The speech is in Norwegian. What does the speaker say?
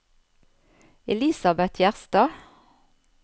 Elisabet Gjerstad